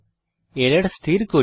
error স্থির করি